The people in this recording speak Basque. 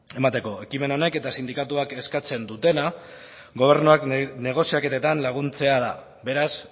emateko ekimen honek eta sindikatuak eskatzen dutena gobernuak negoziaketetan laguntzea da beraz